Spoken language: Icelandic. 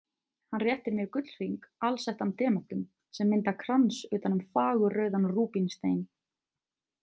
Hann réttir mér gullhring alsettan demöntum sem mynda krans utan um fagurrauðan rúbínstein.